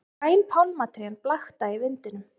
Græn pálmatrén blakta í vindinum.